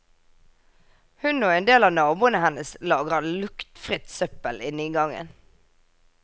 Hun og endel av naboene hennes lagrer luktfritt søppel inne i gangen.